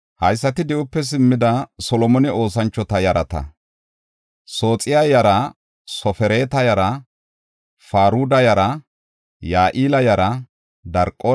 Di7ope simmidi, Xoossa keethan oothiya asa yaratinne Solomone aylleta yarata tayboy 392.